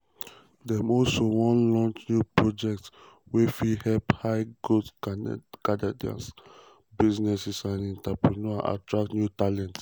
dem also wan launch new projects wey fit help high-growth canadian businesses and entrepreneurs attract new talent.